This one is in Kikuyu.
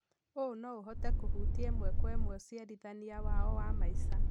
ũũ no ũhote kũhutia ĩmwe kwa ĩmwe ũciarithania wao wa maica.